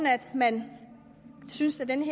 at man synes at den